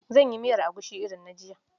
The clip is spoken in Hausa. Zan yi miyar egusi irin na jiya.